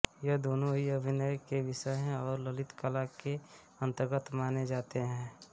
ये दोनों ही अभिनय के विषय हैं और ललित कला के अंतर्गत माने जाते हैं